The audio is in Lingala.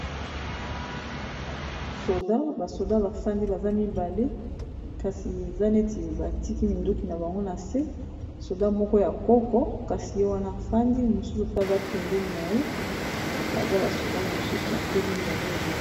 soda ,basoda bafandi baza mibale kasi eza neti batiki minduki na bango na se soda moko ya koko kasi ye wana afandi mosusu pe aza pembeni na ye baza basoda mosusu batelemi baza ebele.